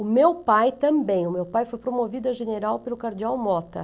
O meu pai também, o meu pai foi promovido a general pelo cardeal Mota.